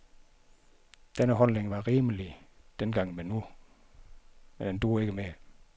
Denne holdning var rimelig dengang, men den dur ikke mere.